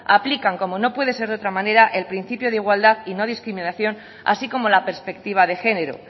aplican como no puede ser de otra manera el principio de igualdad y no discriminación así como la perspectiva de género